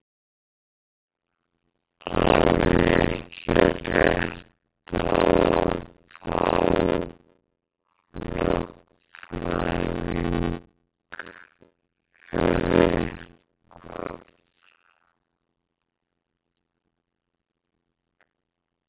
Á ég ekki rétt á að fá lögfræðing eða eitthvað?